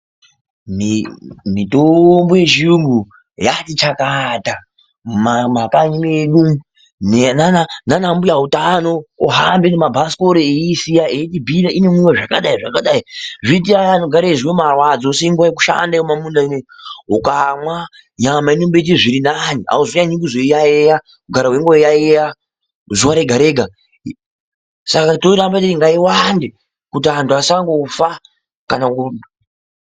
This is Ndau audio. Mitombo yechirungu yatichakata mumakanyi medu umu nana mbuya utano vohamba nemabhasikoro veiisiya veibhuya inohamba zvakadai zvakadai zvoita Vaya vanonzwa marwadzo usimbe wekushanda muma munda ano ukamwa unomboita zviri nane haucharambi uchizoyayeya kugara weiyayeya zuwa Rega Rega Saka toramba teiti ngaiwande kuti vantu vasangofa kana